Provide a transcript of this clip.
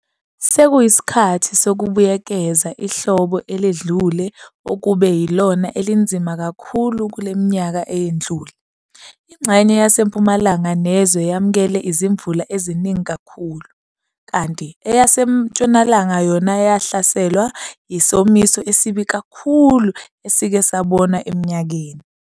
Sekuyisikhathi sokubuyekeza ihlobo eledlule okube yilona elinzima kakhulu kule minyaka eyedlule. Ingxenye yasempumalanga nezwe yamkele izimvula eziningi kakhulu, kanti eyasentshonalanga yona yahlaselwa yisomiso esibi kakhulu esike sabonwa eminyakeni.